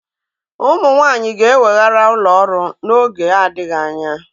Ụmụ nwanyị ga-eweghara ụlọ ọrụ n'oge adịghị anya